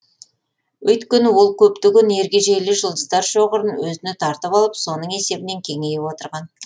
өйткені ол көптеген ергежейлі жұлдыздар шоғырын өзіне тартып алып соның есебінен кеңейіп отырған